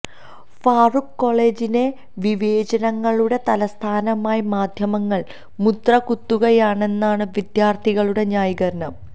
ഫാറൂഖ് കോളജിനെ വിവേചനങ്ങളുടെ തലസ്ഥാനമായി മാധ്യമങ്ങള് മുദ്ര കുത്തുകയാണെന്നാണ് വിദ്യാര്ത്ഥികളുടെ ന്യായീകരണം